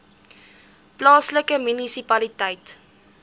plaaslike munisipaliteit